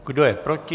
Kdo je proti?